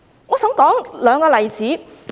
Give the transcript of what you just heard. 我想提出兩個例子。